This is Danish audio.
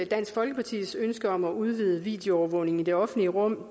dansk folkepartis ønske om at udvide videoovervågning i det offentlige rum